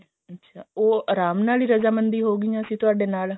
ਉਹ ਆਰਾਮ ਨਾਲ ਰਜ਼ਾ ਮੰਦੀ ਹੋ ਗਈ ਸੀ ਤੁਹਾਡੇ ਨਾਲ